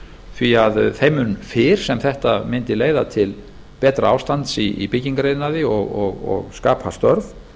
því að þeim mun fyrr sem þetta mundi leiða til betra ástands í byggingariðnaði og skapað störf